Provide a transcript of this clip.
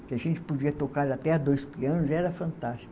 que a gente podia tocar até dois pianos, era fantástico.